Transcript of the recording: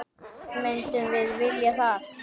Myndum við vilja það?